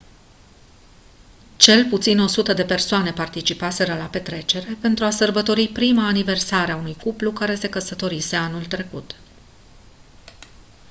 cel puțin 100 de persoane participaseră la petrecere pentru a sărbători prima aniversare a unui cuplu se se căsătorise anul trecut